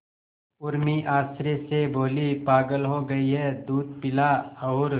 उर्मी आश्चर्य से बोली पागल हो गई है दूध पिला और